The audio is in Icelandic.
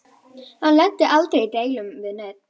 Hann lenti aldrei í deilum við neinn.